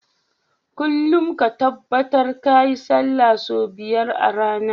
Kullun ka tabbar kayi sallah sau biyar a rAna